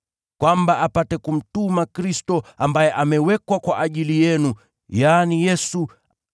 naye apate kumtuma Kristo, ambaye ameteuliwa kwa ajili yenu, yaani Yesu.